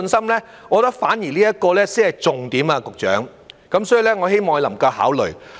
我認為這點反而才是重點，局長，所以我希望他能夠考慮。